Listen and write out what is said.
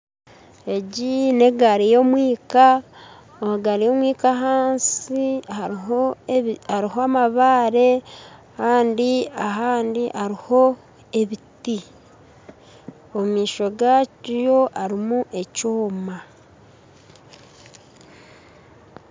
Egi n'egaari y'omwinka, egaari y'omwinka ahansi hariho amabaare kandi ahandi hariho ebiti omumaisho gaayo harimu ekyoma